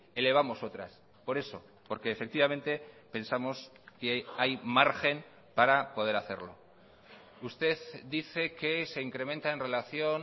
elevamos otras por eso porque efectivamente pensamos que hay margen para poder hacerlo usted dice que se incrementa en relación